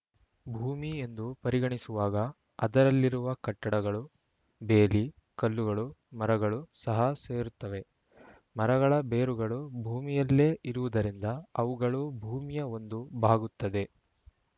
ಭೂಮಿ ಎಂದು ಪರಿಗಣಿಸುವಾಗ ಅದರಲ್ಲಿರುವ ಕಟ್ಟಡಗಳು ಬೇಲಿ ಕಲ್ಲುಗಳು ಮರಗಳೂ ಸಹ ಸೇರುತ್ತವೆ ಮರಗಳ ಬೇರುಗಳು ಭೂಮಿಯಲ್ಲೇ ಇರುವುದರಿಂದ ಅವುಗಳೂ ಭೂಮಿಯ ಒಂದು ಭಾಗುತ್ತದೆ